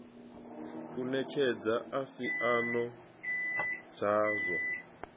u netshedza a isano dzazwo